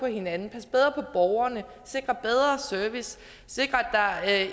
hinanden passe bedre på borgerne sikre bedre service sikre at